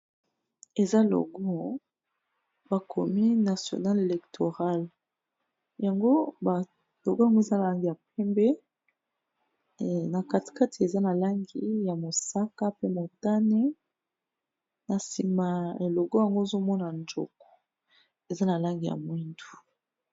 Eza logo bakomi national electoral. Yango ba logo yango eza na langi ya pembe, na kati kati eza na langi ya mosaka, pe motane, na nsima logo yango ozo mona njoko eza na langi ya mwindu.